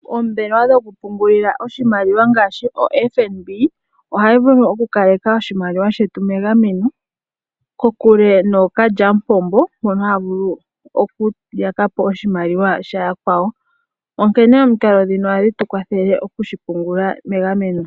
Oombelewa dhokupungula oshimaliwa ngaashi FNB ohayi vulu okukaleka oshimaliwa shetu megameno kokule nookalya mupombo mbono haya vulu okuyakapo oshimaliwa sha yakwawo onkene omikalo dhino ohadhi tukwathele okushipungula megameno.